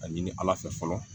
A ɲini ala fɛ fɔlɔ